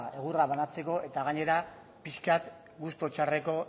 egurra banatzeko eta gainera pixka bat gustu txarreko